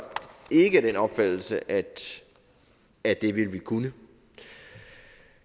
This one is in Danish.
ikke af den opfattelse at at det ville vi kunne